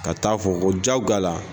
Ka taa fɔ ko jagoya la.